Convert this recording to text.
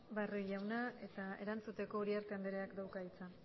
barrio jaunak eta erantzuteko uriarte andereak dauka hitza